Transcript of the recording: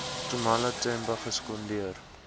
nxumalo themba gesekondeer